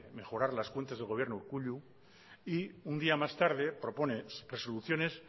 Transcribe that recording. mejorar las cuentas del gobierno urkullu y un día más tarde propone resoluciones